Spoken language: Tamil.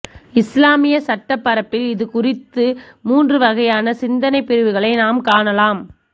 இஸ்லாமிய சட்டப்பரப்பில் இது குறித்து மூன்று வகையான சிந்தனைப் பிரிவுகளை நாம் காணலாம்